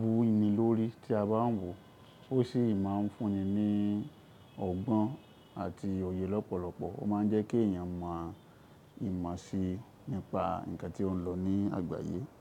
wú ni lórí tí a bá ń wò ó sì máa ń fún ni ní ọgbọ́n àti òye lọ́pọ̀lọpọ̀. Ó máa ń jẹ́ kí èèyàn mọ ìmọ̀ si nípa ǹkan tí ó ń lọ ní àgbáyé.